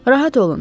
Rahat olun,